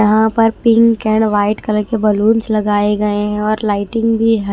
यहां पर pink and white colour के बलूनस लगाए गए हैं और लाइटिंग भी है।